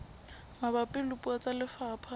mabapi le puo tsa lefapha